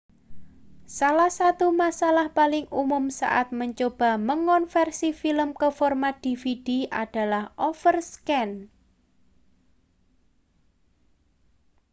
salah satu masalah paling umum saat mencoba mengonversi film ke format dvd adalah overscan